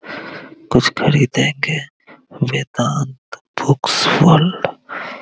कुछ खरीदेंगे Vedanta books world --